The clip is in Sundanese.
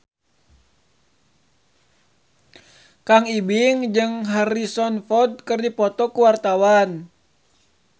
Kang Ibing jeung Harrison Ford keur dipoto ku wartawan